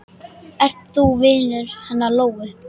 Ert þú vinur hennar Lóu?